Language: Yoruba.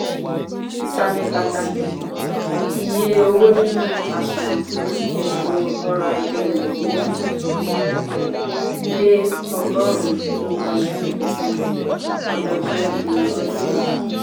ìsàmì pàtàkì: iye owó nínú àsùnwòn fún ètò orò-ajé nàìjíríà (m three ) dé ọgọrùn two point two percent ọdọọdún di ọdún yìí.